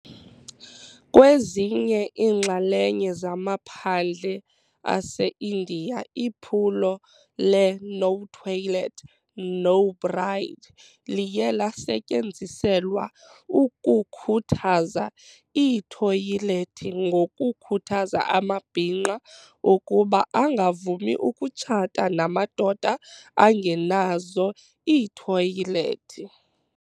Kwezinye iinxalenye zamaphandle aseIndiya iphulo le "No Toilet, No Bride" liye lasetyenziselwa ukukhuthaza iithoyilethi ngokukhuthaza amabhinqa ukuba angavumi ukutshata namadoda angenazo iithoyilethi.